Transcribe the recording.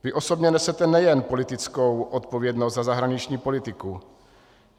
Vy osobně nesete nejen politickou odpovědnost za zahraniční politiku.